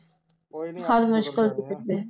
ਹਰ ਮੁਸ਼ਕਿਲ ਤੋਂ ਕੱਢੇ